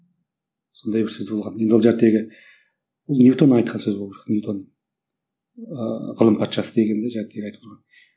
сондай бір сөз болған енді ол ньютон айтқан сөз болу керек ньютон ыыы ғылым патшасы деген